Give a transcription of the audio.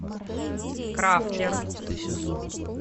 крафтер